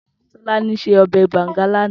Tolani sé òbè bàngá làná